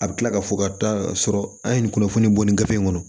A bɛ kila ka fɔ ka taa sɔrɔ an ye nin kunnafoni bɔ ni gafe in kɔnɔ